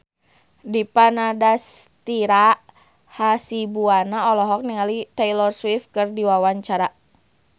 Dipa Nandastyra Hasibuan olohok ningali Taylor Swift keur diwawancara